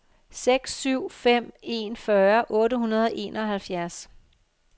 seks syv fem en fyrre otte hundrede og enoghalvfjerds